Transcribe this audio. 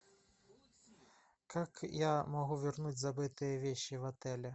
как я могу вернуть забытые вещи в отеле